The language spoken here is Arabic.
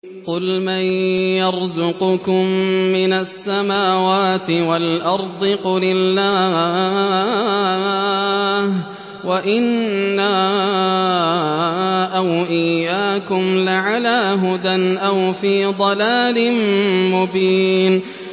۞ قُلْ مَن يَرْزُقُكُم مِّنَ السَّمَاوَاتِ وَالْأَرْضِ ۖ قُلِ اللَّهُ ۖ وَإِنَّا أَوْ إِيَّاكُمْ لَعَلَىٰ هُدًى أَوْ فِي ضَلَالٍ مُّبِينٍ